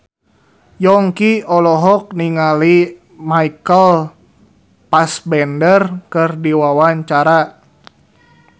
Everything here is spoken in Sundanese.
Yongki olohok ningali Michael Fassbender keur diwawancara